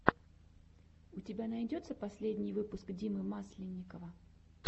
у тебя найдется последний выпуск димы масленникова